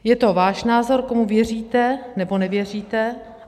Je to váš názor, komu věříte, nebo nevěříte.